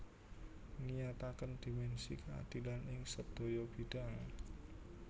Ngiyataken dimensi keadilan ing sedaya bidhang